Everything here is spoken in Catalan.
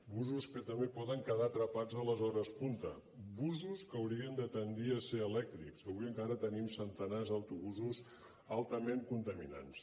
busos que també poden quedar atrapats a les hores punta busos que haurien de tendir a ser elèctrics que avui encara tenim centenars d’autobusos altament contaminants